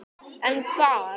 En hvar?